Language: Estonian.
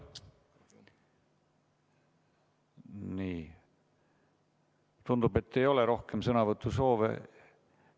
Nii, tundub, et ei ole rohkem sõnavõtusoove.